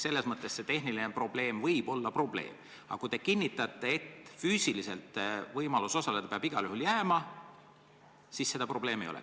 Tehnilised probleemid võivad tõesti olla probleemid, aga kui te kinnitate, et võimalus füüsiliselt osaleda peab igal juhul jääma, siis seda probleemi ei ole.